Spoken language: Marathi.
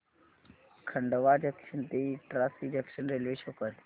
खंडवा जंक्शन ते इटारसी जंक्शन रेल्वे शो कर